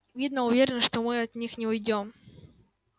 видно уверены что мы от них не уйдём